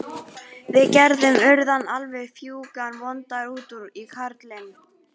Við Gerður urðum alveg fjúkandi vondar út í karlinn.